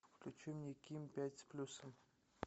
включи мне ким пять с плюсом